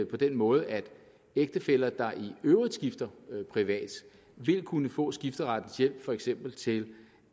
på den måde at ægtefæller der i øvrigt skifter privat vil kunne få skifterettens hjælp for eksempel til